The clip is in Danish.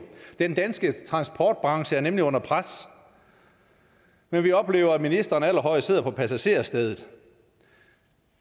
den danske transportbranche er nemlig under pres men vi oplever at ministeren allerhøjest sidder på passagersædet